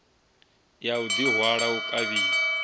ya u ḓihwala u kavhiwa